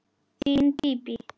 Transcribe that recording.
Þín Bíbí.